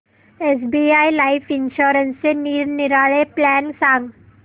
SBI life इन्शुरन्सचे निरनिराळे plan सांग